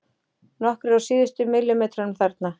Nokkrir á síðustu millimetrunum þarna.